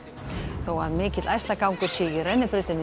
þó að mikill sé í rennibrautinni í